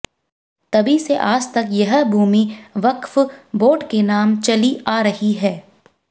तभी से आज तक यह भूमि वक्फ बोर्ड के नाम चली आ रही है